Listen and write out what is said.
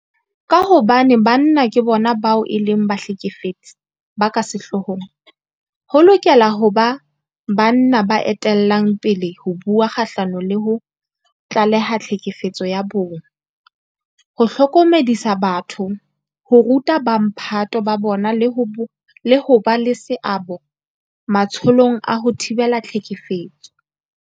Ka hobane banna ke bona bao e leng bahlekefetsi ba ka sehloohong, ho lokela ho ba banna ba etellang pele ho bua kgahlano le ho tlaleha tlhekefetso ya bong, ho hlokomedisa batho, ho ruta bomphato ba bona le ho ba le seabo matsholong a ho thibela tlhekefetso.